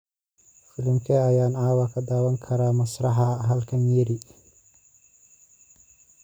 Filimkee ayaan caawa ka daawan karaa masraxa halkan Nyeri?